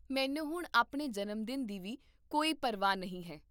ਮੈਨੂੰ ਹੁਣ ਆਪਣ ਜਨਮ ਦਿਨ ਦੀ ਵੀ ਕੋਈ ਪਰਵਾਹ ਨਹੀਂ ਹੈ